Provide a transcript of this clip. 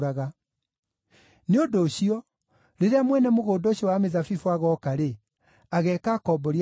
“Nĩ ũndũ ũcio, rĩrĩa mwene mũgũnda ũcio wa mĩthabibũ agooka-rĩ, ageeka akombori acio atĩa?”